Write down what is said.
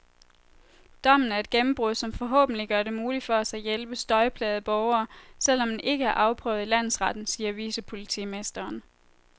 Dommen er et gennembrud, som forhåbentlig gør det muligt for os at hjælpe støjplagede borgere, selv om den ikke er afprøvet i landsretten, siger vicepolitimesteren.